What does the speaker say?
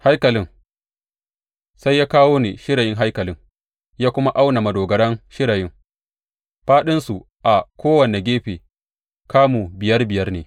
Haikalin Sai ya kawo ni shirayin haikalin ya kuma auna madogaran shirayin; fāɗinsu a kowane gefe kamu biyar biyar ne.